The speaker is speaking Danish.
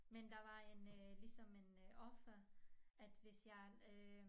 Men der var en ligesom en offer at hvis jeg øh